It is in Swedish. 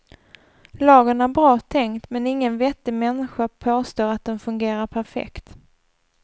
Lagen är bra tänkt men ingen vettig människa påstår att den fungerar perfekt.